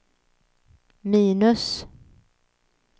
minus